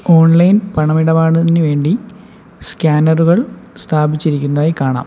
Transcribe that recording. Online പണം ഇടപാടിന് വേണ്ടി സ്കാനറുകൾ സ്ഥാപിച്ചിരിക്കുന്നതായി കാണാം.